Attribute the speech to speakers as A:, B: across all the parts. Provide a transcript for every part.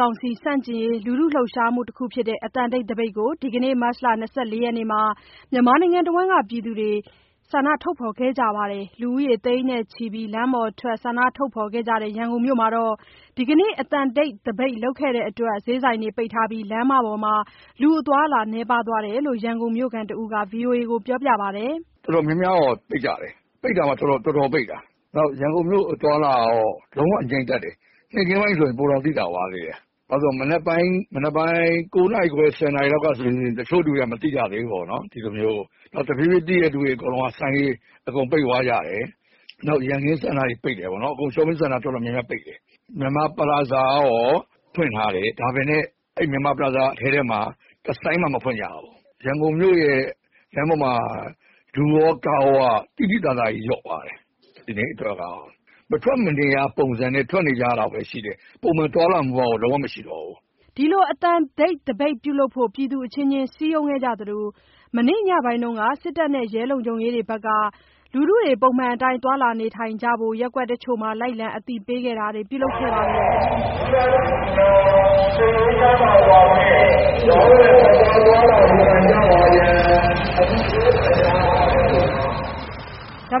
A: ကောင်စီဆန့်ကျင်ရေး လှှုပ်ရှားမှုတခုဖြစ်တဲ့ အသံတိတ်သပိတ်ကို ဒီကနေ့ မတ် ၂၄ ရက်နေ့မှာ မြန်မာနိုင်ငံတဝှမ်းက လူတွေ ပြုလုပ်ကြပါတယ်။ လူဦးရေ သိန်းနဲ့ချီပြီး လမ်းပေါ်ထွက် ဆန္ဒထုတ်ဖော်ခဲ့ကြတဲ့ ရန်ကုန်မြို့မှာတော့ ဒီကနေ့ အသံတိတ် သပိတ်ပြုလုပ်တဲ့အတွက် ဈေးဆိုင်တွေပိတ်ထားကြပြီး လမ်းပေါ်မှာ လူအသွားအလာ နည်းပါးသွားတယ်လို့ ရန်ကုန်မြို့ခံ တဦးက ဗွီအိုအေကို အခုလိုပြောပါတယ်။
B: “တော်တော်များများတော့ ပိတ်ကြတယ်။ ပိတ်တာမှ တော်တော်ပိတ်တာ။ ရန်ကုန်မြို့အသွားအလာတော့ လုံးဝကို ငြိမ်သက်တယ်။ နေ့ခင်းပိုင်းဆို ပိုတောင်သိသာသွားသေးတယ်။ မနက်ပိုင်း ၉ နာရီခွဲ၊ ၁၀ နာရီ လောက်ကဆိုရင် တချို့လူတွေက မသိကြသေးဘူးပေါ့နော်။ နောက်တဖြေးဖြေး သိတဲ့သူတွေ အကုန်လုံးက ဆိုင်တွေ ပိတ်သွားကြတယ်။ နောက်ရန်ကင်းစင်တာ ပိတ်တယ်။ shopping center တော်တော်များများ ပိတ်တယ်။ မြန်မာ ပလာဇာကတော့ ဖွင့်ထားတယ်။ ဒါပေမဲ့ အဲ့ဒီမြန်မာ ပလာဇာအထဲမှာ တဆိုင်မှ မဖွင့်ကြဘူး။ ရန်ကုန်မြို့ရဲ့ လမ်းပေါ်မှာ လူရော၊ ကားရောက မရှိသလောက် သိသိသာသာကြီး လျော့သွားတယ်။ ဒီနေ့အတွက်ကတော့။ မထွက်မနေရ ပုံစံနဲ့ ထွက်နေကြတာတော့ရှိတယ်။ ပုံမှန် သွားလာမှုကတော့ လုံးဝမရှိတော့ဘူး။
A: ” ဒီလို အသံတိတ်သပိတ်ပြုလုပ်ဖို့ ပြည်သူအချင်းချင်း စည်းရုံးခဲ့ကြသလို မနေ့ညပိုင်းက စစ်တပ်နဲ့ ရဲတပ်ဖွဲ့က ပုံမှန်အတိုင်း သွားလာနေထိုင်ကြဖို့ ရပ်ကွက်တချို့မှာ လိုက်လံအသိပေးခဲ့တာတွေ ပြုလုပ်ခဲ့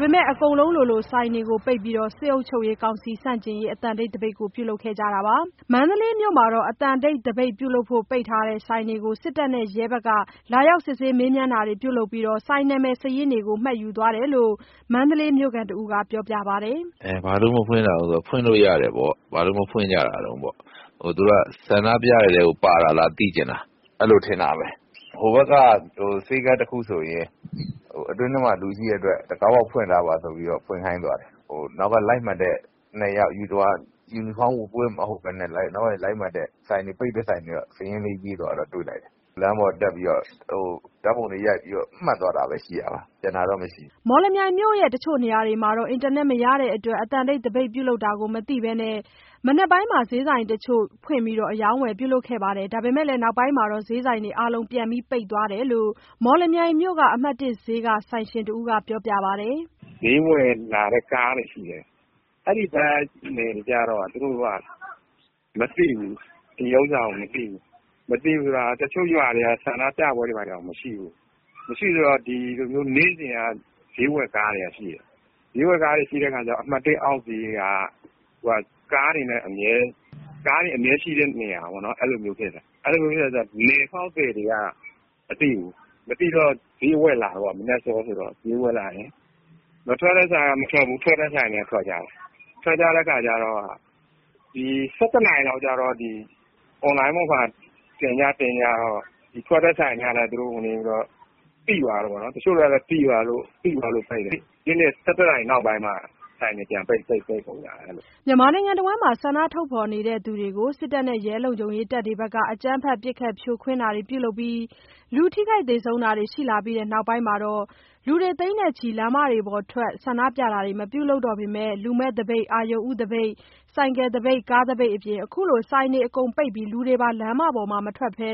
A: ပေမဲ့ အကုန်လုံး လိုလို ဆိုင်တွေပိတ်ပြီး စစ်ကောင်စီ ဆန့်ကျင်ရေး အသံတိတ် သပိတ်ကို ပြုလုပ်ခဲ့ကြတာပါ။ မန္တလေးမြို့မှာတော့ အသံတိတ် သပိတ်ပြုလုပ်လို့ ပိတ်ထားတဲ့ ဆိုင်တချို့ကို စစ်တပ်နဲ့ရဲတပ်ဖွဲ့က လာရောက် မေးမြန်းတာတွေ ပြုလုပ်ပြီး ဆိုင်နာမည်စာရင်းတွေကို မှတ်သားသွားတယ်လို့ မန္တလေးမြို့ခံ တဦးကပြောပါတယ်
B: ။ “ဘာလို့မဖွင့်တာလဲ.. ဖွင့်လို့ရတယ်ပေါ့။ ဘာလို့မဖွင့်ကြတာတုန်းပေါ့။ သူတို့က ဆန္ဒပြတဲ့ထဲကို ပါတာလား သိချင်တာ။ အဲ့ဒီလိုထင်တာပဲ။ ဟိုဘက်က ဆေးခန်းတခုဆိုရင် အတွင်းထဲမှာ လူရှိတဲ့အတွက် တံခါးပေါက်ဖွင့်ထားပါဆိုပြီး ဖွင့်ခိုင်းသွားတယ်။ သူတို့အနောက်က လိုက်မှတ်တဲ့ ယူနီဖောင်းဝတ်မဟုတ်တဲ့ ၂ ယောက်က ပိတ်တဲ့ ဆိုင်တွေကို စာရင်းရေးသွားတာ တွေ့လိုက်တယ်။ လမ်းပေါ်တက်ပြီး ဓာတ်ပုံတွေ ရိုက်ပြီး မှတ်သွားတာပဲ ရှိတာပါ။ ကျန်တာတော့မရှိပါဘ
A: ူး။” မော်လမြိုင်မြို့တချို့နေရာတွေမှာ အင်တာနက် ကွန်ယက်မရရှိတဲ့အတွက် အသံတိတ် သပိတ်ပြုလုပ်တာကို မသိရှိဘဲ မနက်ပိုင်းမှာ ဈေးဆိုင်တချို့ဖွင့်ခဲ့ပြီး အရောင်းအဝယ်ပြုလုပ်နေကြတာတွေရှိသလို နောက်ပိုင်းမှာ ဈေးဆိုင်တွေ အားလုံး ပြန်ပိတ်သွားကြတယ်လို့ မော်လမြိုင်မြို့ အမှတ် ဈေးက ဆိုင်ရှင်တဦးက ပြောပါတယ်။
C: “ဈေးဝယ်လာတဲ့ ကားတွေရှိတယ်။ အဲ့ဒီကားတွေကျတော့မသိဘူး။ မသိဘူးဆိုတာ တချို့ရွာတွေက ဆန္ဒပြပွဲတွေတောင်မရှိဘူး။ နေ့စဉ်က ဈေးဝယ်ကားတွေကရှိတယ်။ ဈေးဝယ်ကားတွေရှိတော့ အမှတ် အောက်ဈေးက ကားတွေအမြဲ ရှိတဲ့နေရာပေါ့။ နယ်ဖောက်သည်တွေက မသိဘူး။ မသိတော့ ဈေးဝယ်လာတာပေါ့။ မထွက်တဲ့ဆိုင်တွေက မထွက်ဘူး ထွက်တဲ့ဆိုင်တွေက ထွက်ကြတယ်။ ထွက်ကြတော့ ၁၁ နာရီ လောက်ကြတော့ အွန်လိုင်းပေါ်မှာ တင်ကြတော့ ထွက်တဲ့ဆိုင်တွေက သိသွားတာပေါ့။ တချို့လည်း သိသွားလို့ ပိတ်တယ်။ ၁၁ နာရီနောက်ပိုင်းမှာ ဆိုင်တွေ အားလုံး ပိတ်သွားကြတယ်။”
A: မြန်မာနိုင်ငံတဝှမ်းမှာ ဆန္ဒထုတ်ဖော်သူတွေကို စစ်တပ်နဲ့ ရဲတပ်ဖွဲ့က အကြမ်းဖက် ပစ်ခတ်ဖြိုခွင်းတာတွေ ပြုလုပ်ပြီး လူသေဆုံးတာတွေရှိလာတဲ့ နောက်ပိုင်းမှာ လူ သိန်းချီ ဆန္ဒပြတာတွေ မပြုလုပ်တော့ပေမဲ့ လူမဲ့သပိတ်၊ အရုဏ်ဦးသပိတ်၊ ဆိုင်ကယ် သပိတ်၊ ကားသပိတ် အပြင် အခုလို ဆိုင်တွေအကုန်ပိတ်ပြီး လူတွေ လမ်းအပြင်မထွက်ဘဲ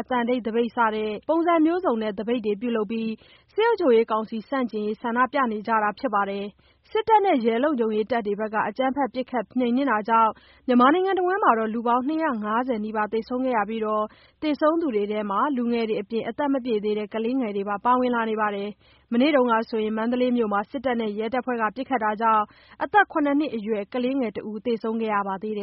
A: အသံတိတ်သပိတ် စတဲ့ အမျိုးမျိုးသော သပိတ်ပုံစံတွေပြုလုပ်ပြီး စစ်ကောင်စီ ဆန့်ကျင် ရေးဆန္ဒပြပွဲတွေ ပြုလုပ်နေတာဖြစ်ပါတယ်။ စစ်တပ်နဲ့ ရဲတပ်ဖွဲ့က အကြမ်းဖက်ပစ်ခတ်နှိမ်နင်းတာကြောင့် မြန်မာနိုင်ငံတဝှမ်း လူပေါင်း ၂၅၀ နီးပါးသေဆုံးခဲ့ပြီး သေဆုံးသူတွေထဲမှာ လူငယ်တွေအပြင် အသက်မပြည့်သေးတဲ့ ကလေးငယ်တွေ ပါဝင်လာသလို မနေ့က မန္တလေးမြို့မှာ စစ်တပ်နဲ့ ရဲတပ်ဖွဲ့ပစ်ခတ်တာကြောင့် အသက် ၇ နှစ်အရွယ် ကလေးငယ် တဦး သေဆုံးခဲ့ပါသေးတယ်